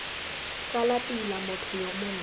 sala pila motho yo montle